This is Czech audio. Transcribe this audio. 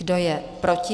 Kdo je proti?